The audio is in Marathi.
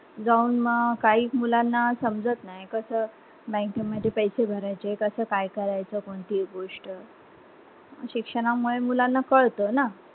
जाऊन काही मुलांना समजात नाही कसा bank मध्ये पैसे भरायचे कस काय करायच कोणती एक गोष्ट शिक्षणां मुळे मुलांना कळत ना